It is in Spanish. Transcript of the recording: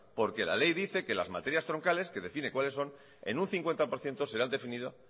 porque la ley dice que las materias troncales que define cuáles son en un cincuenta por ciento será definido